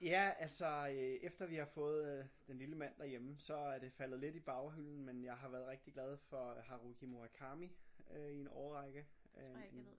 Ja altså øh efter vi har fået øh den lille mand derhjemme så er det faldet lidt i baghylden men jeg har været rigtig glad for Haruki Murakami øh i en årrække